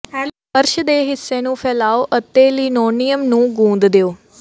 ਫਰਸ਼ ਦੇ ਹਿੱਸੇ ਨੂੰ ਫੈਲਾਓ ਅਤੇ ਲਿਨੋਲੀਆਅਮ ਨੂੰ ਗੂੰਦ ਦਿਉ